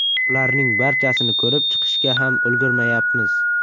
Ularning barchasini ko‘rib chiqishga ham ulgurmayapmiz.